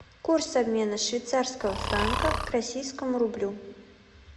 курс обмена швейцарского франка к российскому рублю